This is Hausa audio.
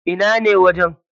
Ina ne wajen?